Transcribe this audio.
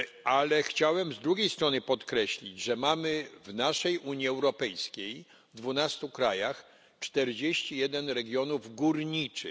Ale chciałem z drugiej strony podkreślić, że mamy w naszej Unii Europejskiej, w 12 krajach, 41 regionów górniczych.